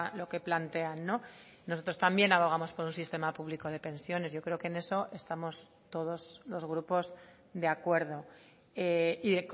lo que plantean nosotros también abogamos por un sistema público de pensiones yo creo que en eso estamos todos los grupos de acuerdo y